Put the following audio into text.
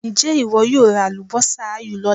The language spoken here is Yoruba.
Ǹjẹ́ ìwọ yóò ra àlùbọ́sà áyù lọ́la?